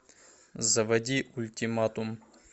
заводи ультиматум